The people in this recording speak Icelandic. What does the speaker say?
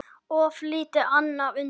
Of lítið annað undir.